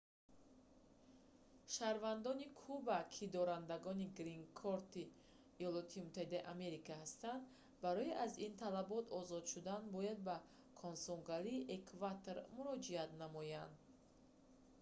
шаҳрвандони куба ки дорандагони «грин-корт»-и има ҳастанд барои аз ин талабот озод шудан бояд ба консулгарии эквадор муроҷиат намоянд